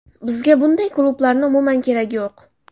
Bizga bunday klublarni umuman keragi yo‘q.